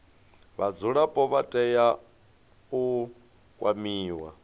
vhadzulapo vha tea u kwamiwa